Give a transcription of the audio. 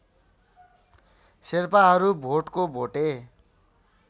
शेर्पाहरू भोटको भोटे